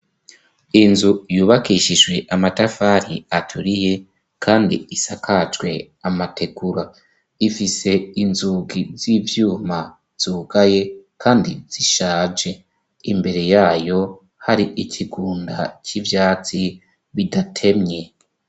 Inzu yubakishijwe amatafari aturiye kandi isakajwe amategura ifise inzugi z'ivyuma zugaye kandi zishaje, imbere yayo hari ikigunda c'ivyatsi bidatemye.